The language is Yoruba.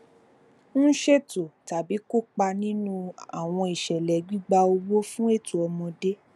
n ṣeto tabi kopa ninu awọn iṣẹlẹ gbigba owo fun awọn eto ọmọde